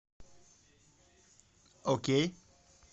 окей